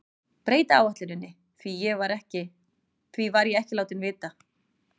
Breyta áætluninni, því var ég ekki látinn vita.